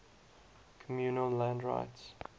communal land rights